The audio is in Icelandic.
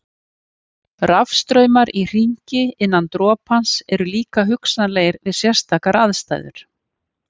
Rafstraumar í hringi innan dropans eru líka hugsanlegir við sérstakar aðstæður.